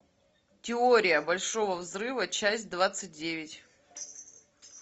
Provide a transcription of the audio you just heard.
теория большого взрыва часть двадцать девять